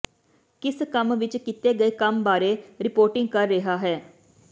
ਕਿਸ ਕੰਮ ਵਿਚ ਕੀਤੇ ਗਏ ਕੰਮ ਬਾਰੇ ਰਿਪੋਰਟਿੰਗ ਕਰ ਰਿਹਾ ਹੈ